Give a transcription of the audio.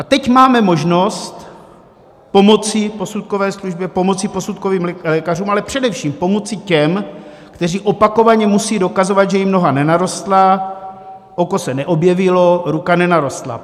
A teď máme možnost pomoci posudkové službě, pomoci posudkovým lékařům, ale především pomoci těm, kteří opakovaně musí dokazovat, že jim noha nenarostla, oko se neobjevilo, ruka nenarostla.